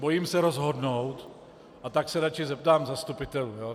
Bojím se rozhodnout, a tak se radši zeptám zastupitelů .